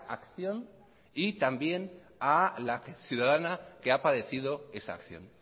acción y también a la ciudadana que ha padecido esa acción